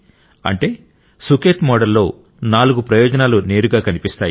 అంటే సుఖేత్ మోడల్ లో నాలుగు ప్రయోజనాలు నేరుగా కనిపిస్తాయి